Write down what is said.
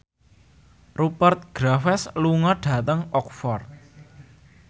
Rupert Graves lunga dhateng Oxford